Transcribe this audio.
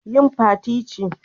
Yin Fati ce